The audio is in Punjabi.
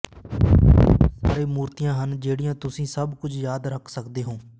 ਬਹੁਤ ਸਾਰੇ ਮੂਰਤੀਆਂ ਹਨ ਜਿਹੜੀਆਂ ਤੁਸੀਂ ਸਭ ਕੁਝ ਯਾਦ ਰੱਖ ਸਕਦੇ ਹੋ